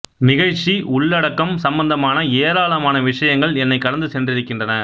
நிகழ்ச்சி உள்ளடக்கம் சம்பந்தமான ஏராளமான விஷயங்கள் என்னைக் கடந்து சென்றிருக்கின்றன